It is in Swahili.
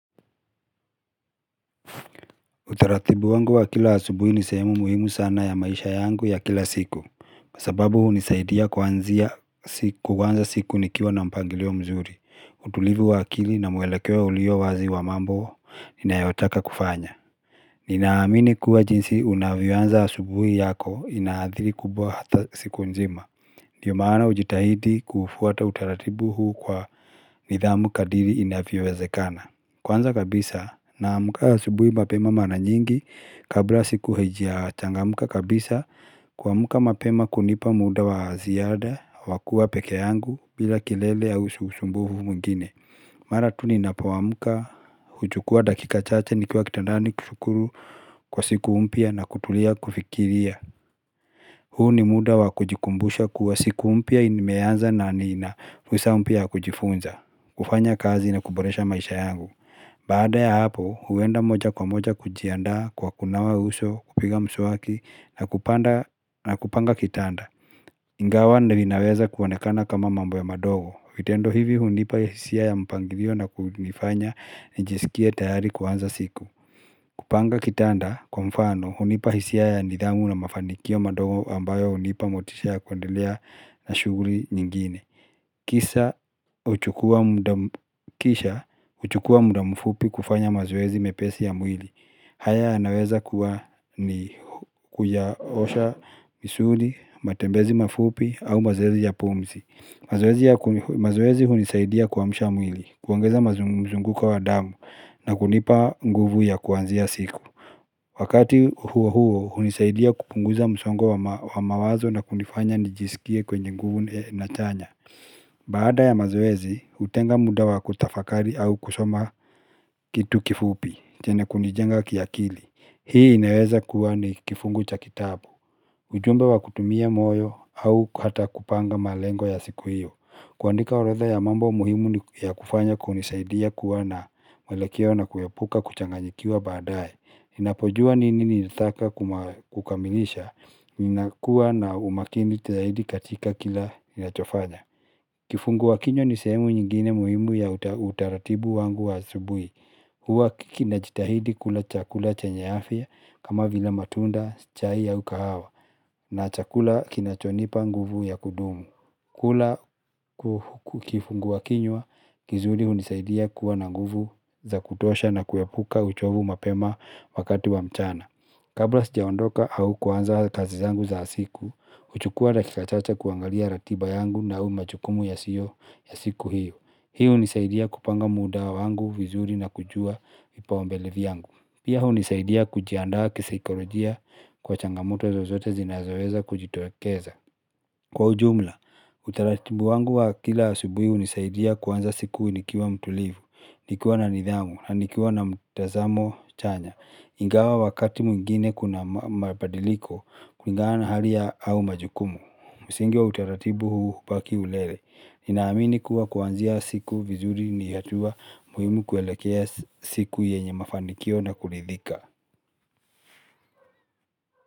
Utaratibu wangu wa kila asubuhi ni sehemu muhimu sana ya maisha yangu ya kila siku. Sababu hunisaidia kuanzia, kuanza siku nikiwa na mpangilio mzuri. Utulivu wa akili na mwelekeo ulio wazi wa mambo ninayotaka kufanya. Ninaamini kuwa jinsi unavyoanza asubuhi yako inaathiri kubwa hata siku nzima. Ndiyo maana hujitahidi kuufwata utaratibu huu kwa nidhamu kadri inavyowezekana. Kwanza kabisa naamka asubuhi mapema mara nyingi kabla siku haijachangamka kabisa. Kuamka mapema kunipa muda wa ziada wa kuwa peke yangu bila kilele au usumbufu mwingine. Mara tu ninapoamka, huchukua dakika chache nikiwa kitandani kushukuru kwa siku mpya na kutulia kufikiria. Huu ni muda wa kujikumbusha kuwa siku mpya imeanza na nina fursa mpya ya kujifunza kufanya kazi na kuboresha maisha yangu Baada ya hapo, huenda moja kwa moja kujiandaa kwa kunawa uso, kupiga mswaki na kupanga kitanda. Ingawa vinaweza kuonekana kama mambo ya madogo. Vitendo hivi hunipa hisia ya mpangilio na kunifanya njisikie tayari kuanza siku. Kupanga kitanda kwa mfano, hunipa hisia ya nidhamu na mafanikio madogo ambayo hunipa motisha ya kuendelea na shughuli nyingine. Kisha huchukua muda mfupi kufanya mazoezi mepesi ya mwili haya yanaweza kuwa ni kuyaosha misuli, matembezi mafupi au mazoezi ya pumzi. Mazoezi hunisaidia kuamsha mwili, kuongeza mazunguko wa damu na kunipa nguvu ya kuanzia siku Wakati huo huo hunisaidia kupunguza msongo wa mawazo na kunifanya nijisikie kwenye nguvu na chanya Baada ya mazoezi, hutenga muda wa kutafakari au kusoma kitu kifupi chenye kunijenga kiakili. Hii inaweza kuwa ni kifungu cha kitabu ujumbe wa kutumia moyo au hata kupanga malengo ya siku hiyo. Kuandika orodha ya mambo muhimu ni, ya kufanya kunisaidia kuwa na mwelekeo na kuepuka kuchanganyikiwa baadaye. Ninapojua nini nilitaka kukamilisha Ninakuwa na umakini zaidi katika kila ninachofanya. Kifungua kinywa ni sehemu nyingine muimu ya utaratibu wangu wa asubuhi. Huwa kinajitahidi kula chakula chenye afya kama vile matunda, chai au kahawa na chakula kinachonipa nguvu ya kudumu. Kula kifunguakinywa kizuri hunisaidia kuwa na nguvu za kutosha na kuepuka uchovu mapema wakati wa mchana. Kabla sijaondoka au kuanza kazi zangu za siku, huchukua dakika chache kuangalia ratiba yangu nao majukumu yasiyo ya siku hiyo. Hii hunisaidia kupanga muda wangu, vizuri na kujua vipaumbele vyangu. Pia hunisaidia kujiandaa kisaikolojia kwa changamoto zozote zinazoweza kujitokeza. Kwa ujumla, utaratibu wangu wa kila asubuhi hunisaidia kuanza siku nikiwa mtulivu, nikiwa na nidhamu, na nikiwa na mtazamo chanya, ingawa wakati mwingine kuna mabadiliko kulingana hali ya, au majukumu. Msingi wa utaratibu huu hubaki ulele. Ninaamini kuwa kuanzia siku vizuri ni hatua muhimu kuelekea siku yenye mafanikio na kuridhika.